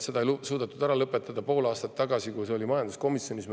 Seda ei suudetud ära lõpetada pool aastat tagasi, kui see oli majanduskomisjonis.